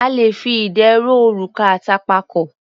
A le fi idẹ rọ òrùka àtànpàkò.